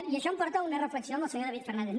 i això em porta a una reflexió amb el senyor david fernàndez